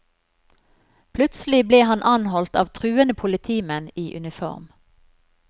Plutselig ble han anholdt av truende politimenn i uniform.